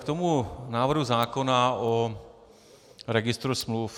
K tomu návrhu zákona o registru smluv.